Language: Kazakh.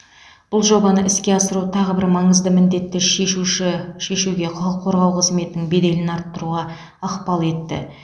бұл жобаны іске асыру тағы бір маңызды міндетті шешуші шешуге құқық қорғау қызметінің беделін арттыруға ықпал етті